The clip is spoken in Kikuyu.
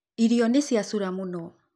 Irio nĩcĩacũra mũno.